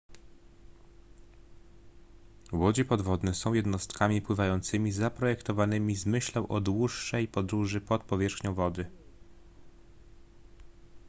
łodzie podwodne są jednostkami pływającymi zaprojektowanymi z myślą o dłuższej podróży pod powierzchnią wody